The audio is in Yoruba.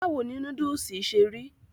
báwo ni núdùsì ṣe rí?